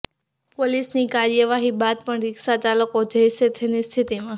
પોલીસની કાર્યવાહી બાદ પણ રીક્ષા ચાલકો જૈસે થેની સ્થિતિમાં